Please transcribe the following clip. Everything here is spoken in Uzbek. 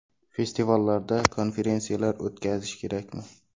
Festivallarda konferensiyalar o‘tkazish kerakmi?.